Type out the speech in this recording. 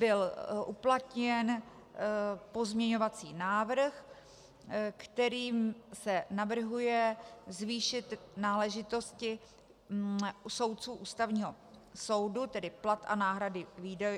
Byl uplatněn pozměňovací návrh, kterým se navrhuje zvýšit náležitosti soudců Ústavního soudu, tedy plat a náhrady